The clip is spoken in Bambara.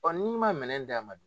n'i man minɛn di a ma dun?